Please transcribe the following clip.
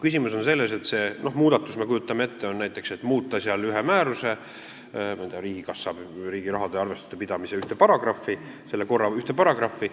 Kujutame ette, et muudetakse ühe määruse, ma ei tea, riigikassa või riigi raha arvestuse pidamise määruse ühte paragrahvi, selle korra ühte paragrahvi.